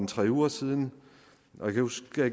tre uger siden og jeg kan huske at